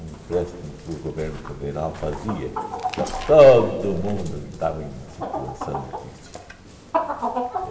Um empréstimo que o governo federal fazia para todo mundo que estava em situação difícil.